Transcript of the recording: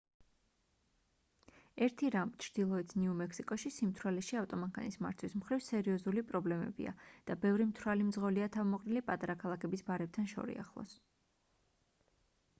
ერთი რამ ჩრდილოეთ ნიუ-მექსიკოში სიმთვრალეში ავტომანქანის მართვის მხრივ სერიოზული პრობლემებია და ბევრი მთვრალი მძღოლია თავმოყრილი პატარა ქალაქების ბარებთან შორიახლოს